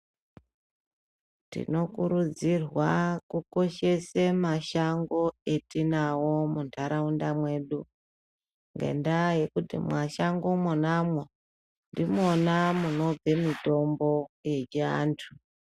Tinokurudzirwa kukoshese mashango atinawo munharaunda mwedu ngendaa yekuti mashango mwonamwo ndimwona munobva mutombo yechiantu.